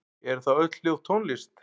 Eru þá öll hljóð tónlist?